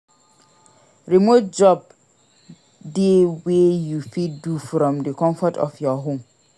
Remote jobs de wey you fit do from the confort of your home